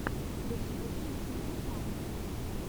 включи удивительные факты